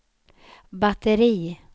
batteri